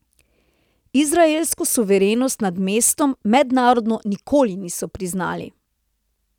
Izraelsko suverenost nad mestom mednarodno nikoli niso priznali.